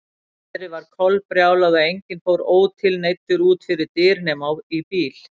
Veðrið var kolbrjálað og enginn fór ótilneyddur út fyrir dyr nema í bíl.